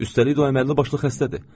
Üstəlik də o əməlli başlı xəstədir.